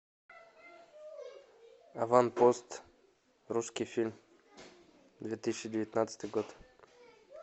аванпост русский фильм две тысячи девятнадцатый год